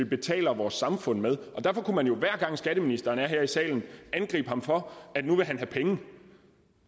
betaler vores samfund med og derfor kunne man jo hver gang skatteministeren er her i salen angribe ham for at nu vil han have penge